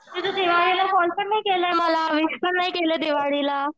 तू तर दिवाळीला फोन पण नाही केला मला विष पण नाही केलं दिवाळीला.